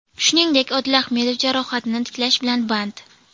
Shuningdek, Odil Ahmedov jarohatini tiklash bilan band.